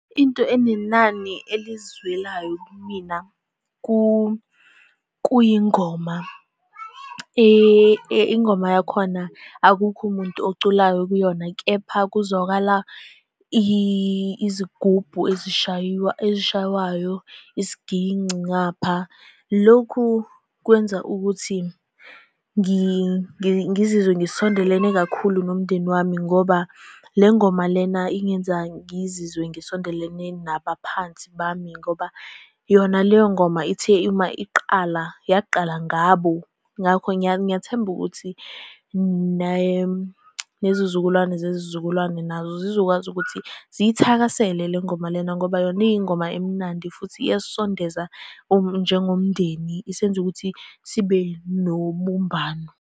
Into enenani elizwelayo kumina kuyingoma. Ingoma yakhona akukho umuntu oculayo kuyona, kepha kuzwakala izigubhu ezishayiwa, ezishaywayo, isiginci ngapha. Lokhu kwenza ukuthi ngizizwe ngisondelene kakhulu nomndeni wami ngoba le ngoma lena ingenza ngizizwe ngisondelene nabaphansi bami, ngoba yona leyo ngoma ithe uma iqala, yaqala ngabo. Ngakho, ngiyathemba ukuthi nezizukulwane zezizukulwane nazo zizokwazi ukuthi ziyithakasele le ngoma lena, ngoba yona iy'ngoma emnandi futhi iyasisondeza njengomndeni isenze ukuthi sibe nobumbano.